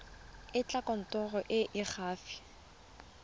etela kantoro e e gaufi